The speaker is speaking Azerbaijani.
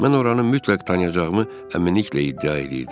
Mən oranı mütləq tanıyacağımı əminliklə iddia eləyirdim.